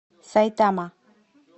сайтама